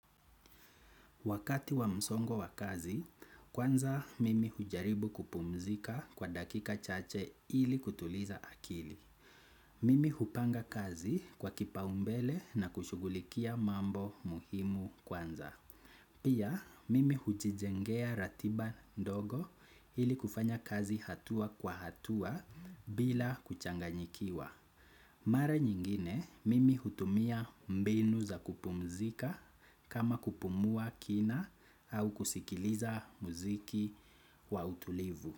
Wakati wa msongo wa kazi, kwanza mimi hujaribu kupumzika kwa dakika chache ili kutuliza akili. Mimi hupanga kazi kwa kipaumbele na kushughulikia mambo muhimu sana. Pia, mimi hujijengea ratiba ndogo ili kufanya kazi hatua kwa hatua bila kuchanganyikiwa. Mara nyingine mimi hutumia mbegu za kupumzika kama kupumua kina au kusikiliza muziki wa utulivu.